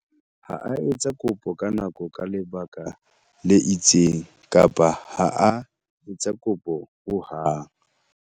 Ha a etsa kopo ka nako ka lebaka le itseng kapa ha a etsa kopo hohang.